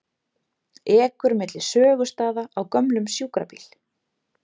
Ekur milli sögustaða á gömlum sjúkrabíl